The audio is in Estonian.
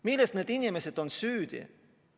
Milles on need inimesed süüdi?